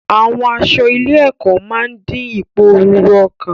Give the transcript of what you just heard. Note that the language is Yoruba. Àwọn aṣọ ilé-ẹ̀kọ́ máa ń dín ìpòrúru ọkàn.